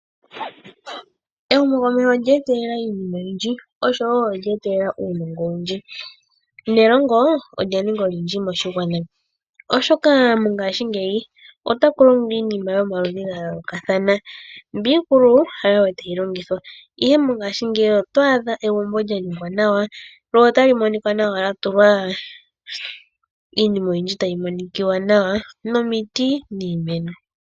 Ehumo komeho olye etelela iinima oyindji oshowo ondje etelela uunongo owundji, nelongo ondja ninga olindji moshigwana. Oshoka mongashi ngeyi otaku longwa iinima yomaludhi ga yolokathana mbi ikulu hayo wo tayi longithwa, ihe mongashi ndeyi oto adha egumbo lya ningwa nawa lyo otali monika nawa lya tulwa iinima oyindji tayi monikiwa nawa nomiti niimeno.